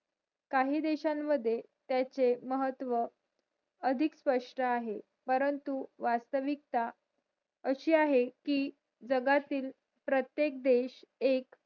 काही देशां मध्ये त्याचे महत्व अधिक स्पष्ट आहे परंन्तु वास्तविकता